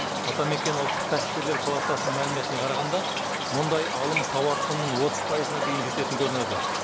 атамекен ұлттық кәсіпкерлер палатасының мәліметіне қарағанда мұндай алым тауар құнының отыз пайызына дейін жететін көрінеді